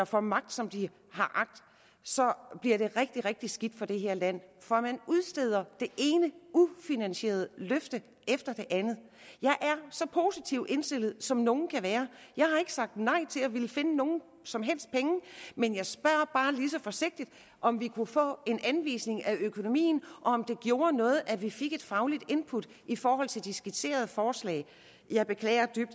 får magt som de har agt så bliver det rigtig rigtig skidt for det her land for man udsteder det ene ufinansierede løfte efter det andet jeg er så positivt indstillet som nogen kan være jeg har ikke sagt nej til at ville finde nogen som helst penge men jeg spørger bare lige så forsigtigt om vi kunne få en anvisning af økonomien og om det gjorde noget at vi fik et fagligt input i forhold til det skitserede forslag jeg beklager dybt